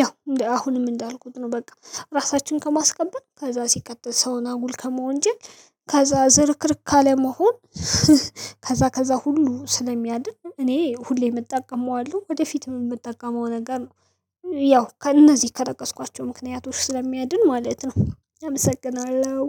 ያው አሁንም እንዳልኩት ነው በቃ ራሳችን ከማስከበር ከዛ ሲቀጥል ሰውን አጉል ከመወንጀል ከዛ ዝርክርክ ካለመሆን ከዛ ከዛ ሁሉ ስለሚያድን እኔ ሁሌ እጠቀመዋለሁ ወደፊትም የምጠቀመው ነገር ነው። ያው ከእነዚህ ከጠቀስኳቸው ምክንያቶች ስለሚያድን ማለት ነው። አመሰግናለሁ።